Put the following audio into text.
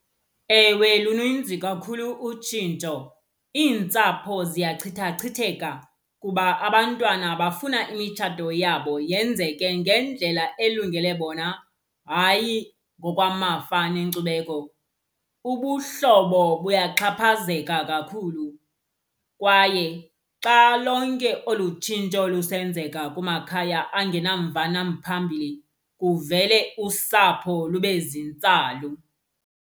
Ewe, luninzi kakhulu utshintsho. Iintsapho ziyachithachitheka kuba abantwana bafuna imitshato yabo yenzeke ngendlela elungele bona, hayi ngokwamafa nenkcubeko. Ubuhlobo buyaxhaphazeka kakhulu, kwaye xa lonke olu tshintsho lusenzeka kumakhaya angenamva namphambili kuvele usapho lube zintsalu.